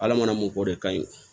Ala mana mun k'o de kan ye